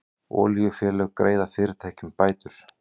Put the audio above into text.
Olíufélög greiða fyrirtækjum bætur